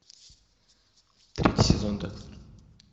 третий сезон декстер